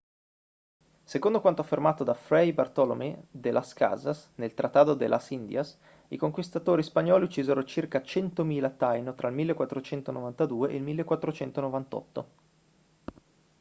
secondo quanto affermato da fray bartolomé de las casas nel tratado de las indias i conquistatori spagnoli uccisero circa 100.000 taino tra il 1492 e il 1498